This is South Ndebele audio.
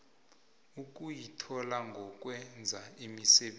ukuyithola ngokwenza imisebenzi